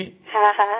હા હા